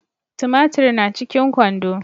Tumatiri na cikin kwando